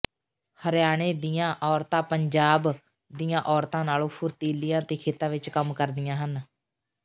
ਹਰਿਆਣੇ ਦੀਆਂ ਔਰਤਾਂ ਪੰਜਾਬ ਦੀਆਂ ਔਰਤਾਂ ਨਾਲੋਂ ਫੁਰਤੀਲੀਆਂ ਅਤੇ ਖੇਤਾਂ ਵਿਚ ਕੰਮ ਕਰਦੀਆਂ ਹਨ